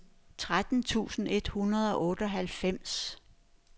tretten tusind et hundrede og otteoghalvfems